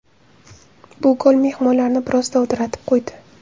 Bu gol mehmonlarni biroz dovdiratib qo‘ydi.